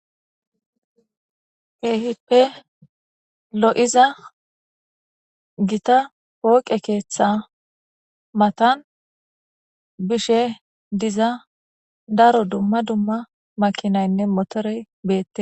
hehippe lo7iza gita pooqe keeththa matan bishe diza daro dumma dumma makinaynne motorey beette